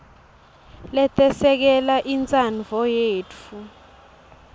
letesekela intsandvo yetfu